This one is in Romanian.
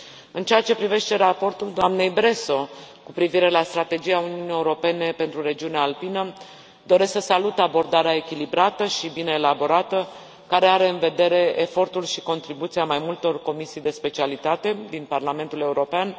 În ceea ce privește raportul doamnei Bresso cu privire la strategia Uniunii Europene pentru regiunea alpină, doresc să salut abordarea echilibrată și bine elaborată, care are în vedere efortul și contribuția mai multor comisii de specialitate din Parlamentul European.